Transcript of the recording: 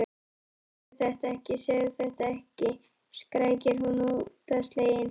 Ó, segðu þetta ekki, segðu þetta ekki, skrækir hún óttaslegin.